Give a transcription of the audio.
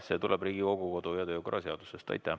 See tuleb Riigikogu kodu- ja töökorra seadusest.